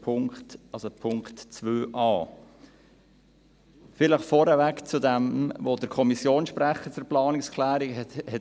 Vielleicht vorab zu dem, was der Kommissionssprecher zur Planungserklärung gesagt hat.